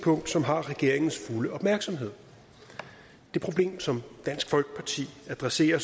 punkt som har regeringens fulde opmærksomhed det problem som dansk folkeparti adresserer